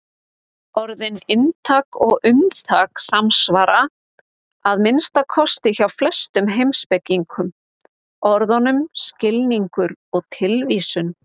Orðin inntak og umtak samsvara, að minnsta kosti hjá flestum heimspekingum, orðunum skilningur og tilvísun.